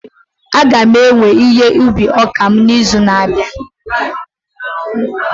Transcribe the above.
A ga m ewe ihe ubi ọka m n'izu na-abịa